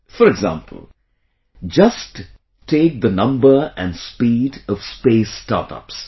For example, take just the number and speed of space startups